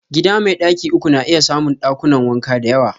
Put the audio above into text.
Gida mai daki uku na iya samun dakunan wanka da yawa.